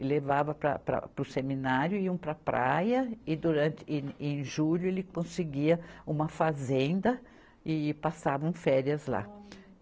e levava para, para, para o seminário, iam para a praia e durante, e em julho ele conseguia uma fazenda e passavam férias lá.